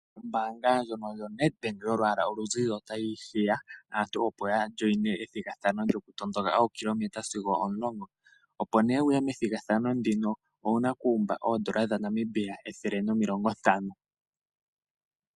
Ombaanga ndjono yaNedbank yolwaala olu zizi, ota yi hiya aantu opo ya wayimine ethigathano lyo ku tondoka ookilometa sigo omulongo, opo nee wuye methigathano ndino, owuna okuumba oodola dha Namibia ethele nomilongo ntano.